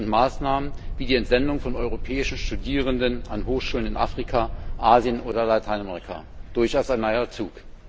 Projekte und Maßnahmen wie die Entsendung von europäischen Studierenden an Hochschulen in Afrika, Asien oder Lateinamerika durchaus ein neuer Zug.